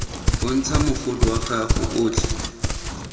bontsha mogolo wa gago otlhe